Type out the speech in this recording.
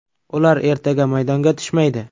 Ular ertaga maydonga tushmaydi.